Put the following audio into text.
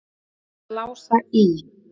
Mamma hans Lása í